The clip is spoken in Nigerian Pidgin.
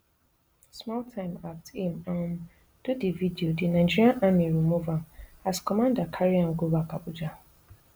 small time aft aim um do di video di nigeria army remove am as commander carry am go back abuja